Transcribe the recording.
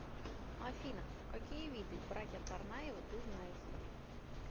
афина какие виды братья царнаевы ты знаешь